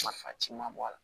Nafa ci ma bɔ a la